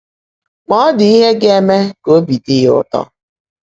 Mà ọ́ ḍị́ íhe gá-èmè kà óbí ḍị́ yá ụ́tọ́.